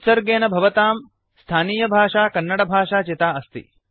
उत्सर्गेन भवतां स्थानियभाषा कन्नडभाषा चिता अस्ति